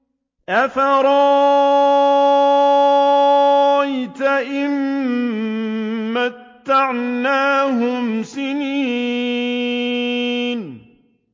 أَفَرَأَيْتَ إِن مَّتَّعْنَاهُمْ سِنِينَ